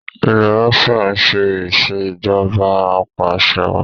ilé Russia ṣe Ìṣèjọba Apàṣẹwàá